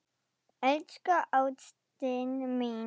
Elsku ástin mín.